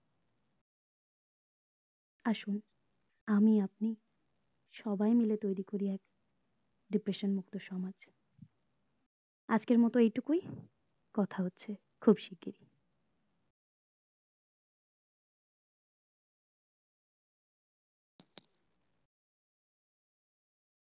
আসুন আমি আপনি সবাই মিলে তৈরী করো এক depression মুক্ত সমাজ আজকের মতো এইটুকুই কথা হচ্ছে খুব শিগ্রহি